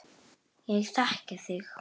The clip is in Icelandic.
Ég þekki þig.